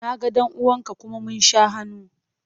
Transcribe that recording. Na ga ɗan uwan ka kuma mun sha hannu.